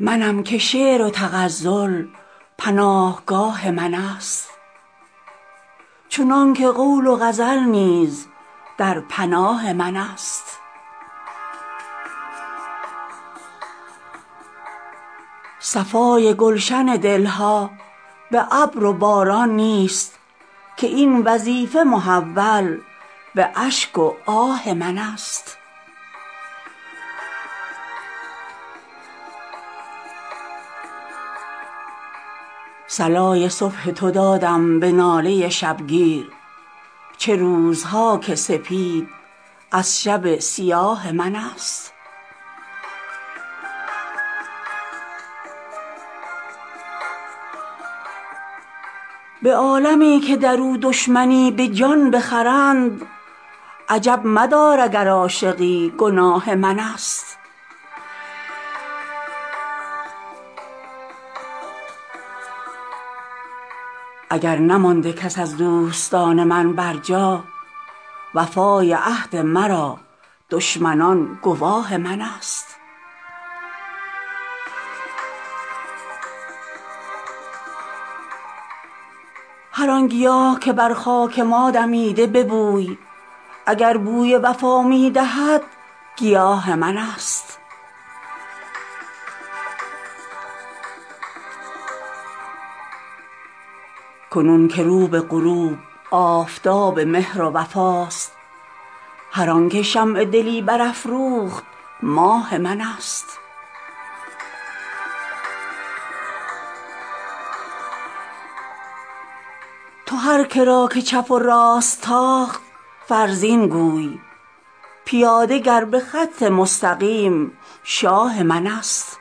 منم که شعر و تغزل پناهگاه من است چنان که قول و غزل نیز در پناه من است صفای گلشن دل ها به ابر و باران نیست که این وظیفه محول به اشک و آه من است صلای صبح تو دادم به ناله شب گیر چه روزها که سپید از شب سیاه من است به عالمی که در او دشمنی به جان بخرند عجب مدار اگر عاشقی گناه من است اگر نمانده کس از دوستان من بر جا وفای عهد مرا دشمنان گواه من است هر آن گیاه که بر خاک ما دمیده ببوی اگر که بوی وفا می دهد گیاه من است کنون که رو به غروب آفتاب مهر و وفاست هر آن که شمع دلی برفروخت ماه من است تو هر که را که چپ و راست تاخت فرزین گوی پیاده گر به خط مستقیم شاه من است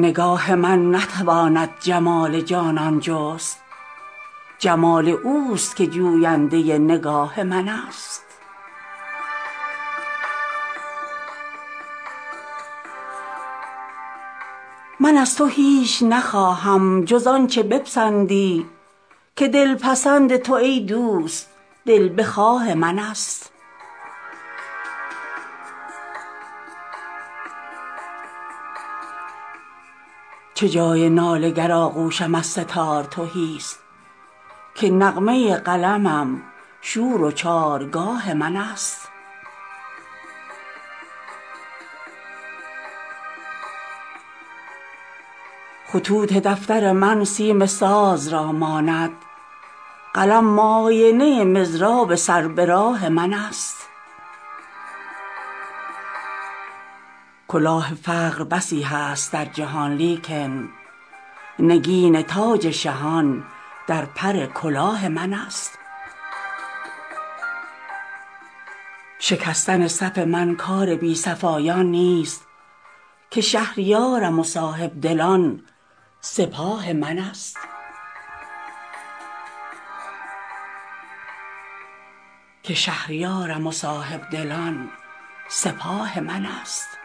نگاه من نتواند جمال جانان جست جمال اوست که جوینده نگاه من است من از تو هیچ نخواهم جز آن چه بپسندی که دل پسند تو ای دوست دل بخواه من است چه جای ناله گر آغوشم از سه تار تهی است که نغمه قلمم شور و چارگاه من است خطوط دفتر من سیم ساز را ماند قلم معاینه مضراب سر به راه من است کلاه فقر بسی هست در جهان لیکن نگین تاج شهان در پر کلاه من است شکستن صف من کار بی صفایان نیست که شهریارم و صاحب دلان سپاه من است